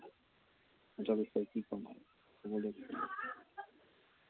সিহঁতৰ বিষয়ে কি কম আৰু। কবলৈ একো নাই।